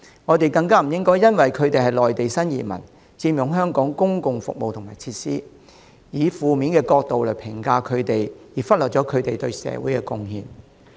我們更不應該因為內地新移民使用香港公共服務及設施，就以負面角度評價他們，忽略他們對社會的貢獻。